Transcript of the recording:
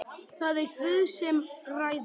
Það er Guð sem ræður.